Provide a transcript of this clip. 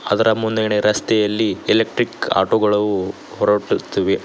ಅದರ ಮುಂದ್ಗಡೆ ರಸ್ತೆಯಲ್ಲಿ ಎಲೆಕ್ಟ್ರಿಕ್ ಆಟೋ ಗಳವು ಹೊರಟುತ್ತಿವೆ.